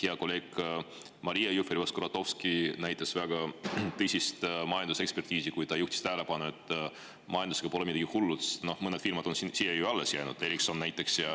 Hea kolleeg Maria Jufereva-Skuratovski näitas väga tõsist majandusekspertiisi, kui ta juhtis tähelepanu, et majandusega pole midagi hullu lahti, mõned firmad on siia ju alles jäänud, Ericsson näiteks.